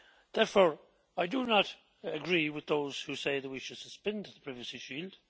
Therefore, I do not agree with those who say that we should suspend the Privacy Shield.